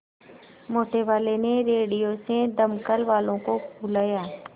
मोटेवाले ने रेडियो से दमकल वालों को बुलाया